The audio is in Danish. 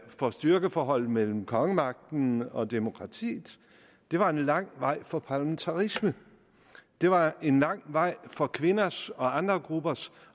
om styrkeforholdet mellem kongemagten og demokratiet det var en lang vej for parlamentarisme det var en lang vej for kvinders og andre gruppers